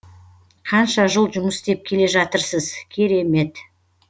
қанша жыл жұмыс істеп келе жатырсыз керемет